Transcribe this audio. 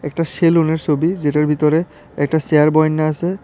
সেলুনের ছবি যেটার ভিতরে একটা চেয়ার বয়াইনা আছে।